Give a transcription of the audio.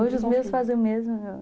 Hoje os meus fazem o mesmo,